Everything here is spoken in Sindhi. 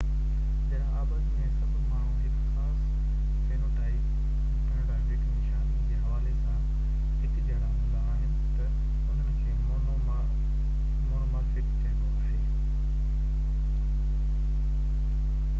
جڏهن آبادي ۾ سڀئي ماڻهو هڪ خاص فينوٽائپڪ نشاني جي حوالي سان هڪجهڙا هوندا آهن تہ انهن کي مونومارفڪ چئبو آهي